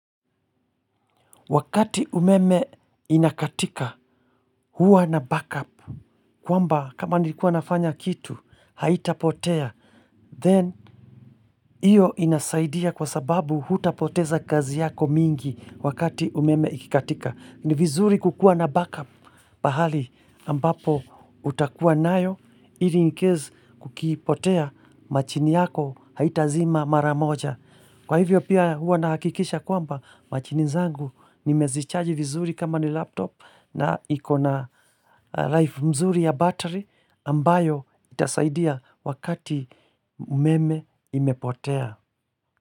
Wakati umeme inakatika huwa na backup kwamba kama nilikuwa nafanya kitu haitapotea Then iyo inasaidia kwa sababu hutapoteza kazi yako mingi wakati umeme ikikatika. Ni vizuri kukua na backup pahali ambapo utakua nayo ili incase kukipotea machini yako haitazima mara moja. Kwa hivyo pia huwa nahakikisha kwamba machini zangu nimezichaji vizuri kama ni laptop na iko na life mzuri ya battery ambayo itasaidia wakati umeme imepotea.